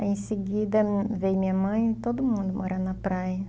Aí, em seguida, veio minha mãe e todo mundo morar na praia.